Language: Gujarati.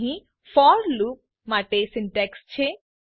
અહીં ફોર લૂપ માટે સિન્તેક્ષ છે